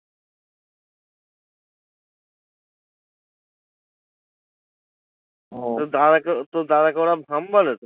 ও তোর দাদাকে তো দাদাকে ওরা ধম বলে তো?